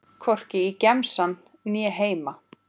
Hvorki í gemsann né heima.